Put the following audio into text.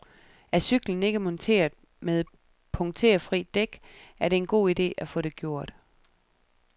Er cyklen ikke monteret med punkterfri dæk, er det en god ide at få det gjort.